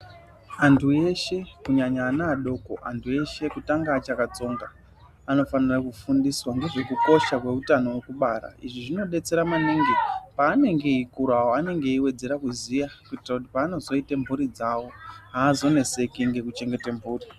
Antu eshe kunyanya ana adoko ,antu eshe kutanga achakatsonga anofanire kufundiswa ngezvekukosha kweutano hwekubara izvi zvinodetsera maningi paanenge eikurawo anenge eiwedzera kuziya kuitira kuti paanozoite mhuri dzawo azonetseki ngekuchengete mhuri.